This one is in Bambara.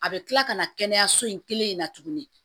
A bɛ kila ka na kɛnɛyaso in kelen in na tuguni